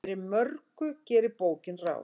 Fyrir mörgu gerir bókin ráð.